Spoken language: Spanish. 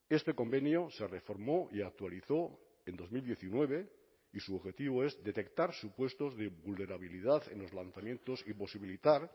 este convenio se reformó y actualizó en dos mil diecinueve y su objetivo es detectar supuestos de vulnerabilidad en los lanzamientos y posibilitar